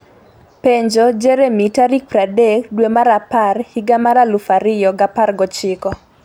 penjo Jeremy tarik 30 dwe mar apar higa mar 2019.